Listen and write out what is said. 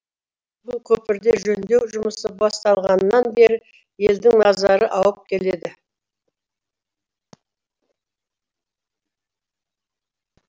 бұл көпірде жөндеу жұмысы басталғаннан бері елдің назары ауып келеді